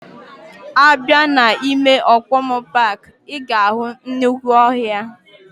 Abia na ime Okomu park, iga ahu nnukwu ohia.